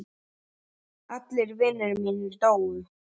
Allir vinir mínir dóu.